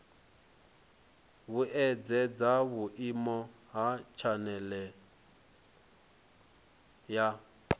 vhuedzedza vhuimo ha tshanele ya